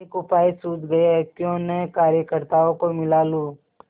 एक उपाय सूझ गयाक्यों न कार्यकर्त्ताओं को मिला लूँ